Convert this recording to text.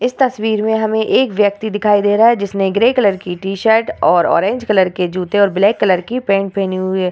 इस तस्वीर मे हमे एक व्यक्ति दिखाई दे रहा है जिसने ग्रे कलर की टी-शर्ट और ऑरेंज कलर के जूते और ब्लैक कलर की पैंट पहनी हुई है।